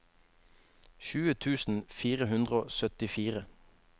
tjue tusen fire hundre og syttifire